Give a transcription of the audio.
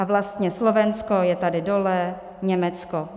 A vlastně Slovensko je tady dole, Německo.